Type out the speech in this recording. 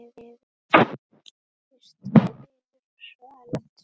Fyrst hvinur, svo eldur.